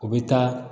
U bɛ taa